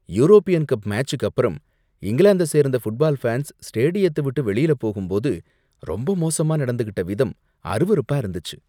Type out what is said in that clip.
European cup மேட்ச்சுக்கப்பரம் இங்கிலாந்த சேர்ந்த ஃபுட்பால் ஃபேன்ஸ் ஸ்டேடியத்தை விட்டு வெளியில போகும்போது ரொம்ப மோசமா நடந்துகிட்ட விதம் அருவருப்பா இருந்துச்சு.